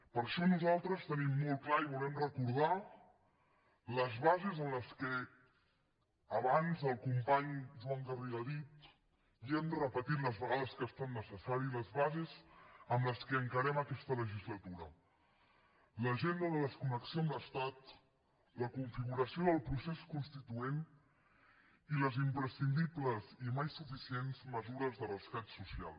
per això nosaltres tenim molt clar i volem recordar abans el company joan garriga ho ha dit i ho hem repetit les vegades que han estat necessàries les bases amb què encarem aquesta legislatura l’agenda de desconnexió amb l’estat la configuració del procés constituent i les imprescindibles i mai suficients mesures de rescat social